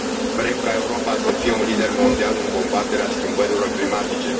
Vrem ca Europa să fie un lider mondial în combaterea schimbărilor climatice.